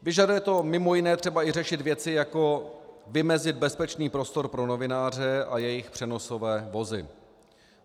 Vyžaduje to mimo jiné třeba i řešit věci, jako vymezit bezpečný prostor pro novináře a jejich přenosové vozy.